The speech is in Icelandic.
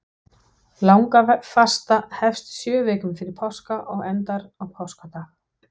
Langafasta hefst sjö vikum fyrir páska og endar á páskadag.